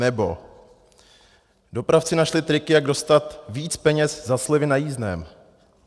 Nebo: Dopravci našli triky, jak dostat víc peněz za slevy na jízdném.